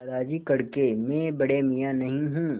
दादाजी कड़के मैं बड़े मियाँ नहीं हूँ